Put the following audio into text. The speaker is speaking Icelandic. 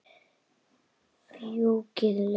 Fjúkiði lauf.